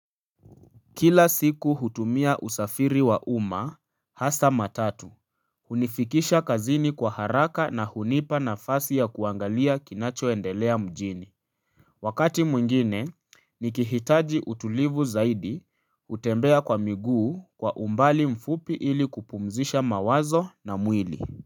Kila siku hutumia usafiri wa umma, hasa matatu. Hunifikisha kazini kwa haraka na hunipa na fasi ya kuangalia kinachoendelea mjini. Wakati mwingine, nikihitaji utulivu zaidi hutembea kwa miguu kwa umbali mfupi ili kupumzisha mawazo na mwili.